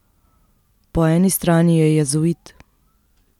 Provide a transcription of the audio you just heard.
Po eni strani je jezuit.